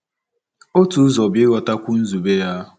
Otu ụzọ bụ ịghọtakwu nzube ya.